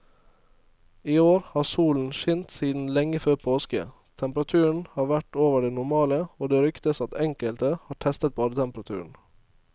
I år har solen skint siden lenge før påske, temperaturen har vært over det normale og det ryktes at enkelte har testet badetemperaturen.